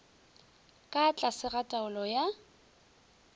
ka tlase ga taolo ya